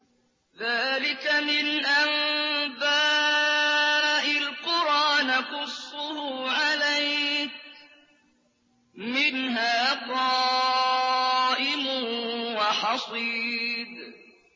ذَٰلِكَ مِنْ أَنبَاءِ الْقُرَىٰ نَقُصُّهُ عَلَيْكَ ۖ مِنْهَا قَائِمٌ وَحَصِيدٌ